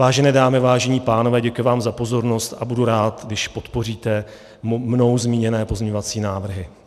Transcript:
Vážené dámy, vážení pánové, děkuji vám za pozornost a budu rád, když podpoříte mnou zmíněné pozměňovací návrhy.